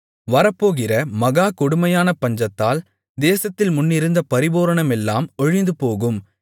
வரப்போகிற மகா கொடுமையான பஞ்சத்தால் தேசத்தில் முன்னிருந்த பரிபூரணமெல்லாம் ஒழிந்துபோகும்